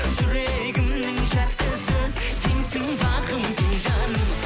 жүрегімнің жартысы сенсің бағым сен жаным